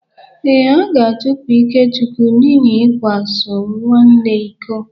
Ee, a ga-achụpụ Ikechukwu n’ihi ịkwa so nwanne iko.